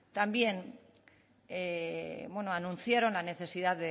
también bueno anunciaron la necesidad